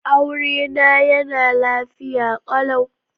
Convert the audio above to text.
Aurena yana lafiya kalau.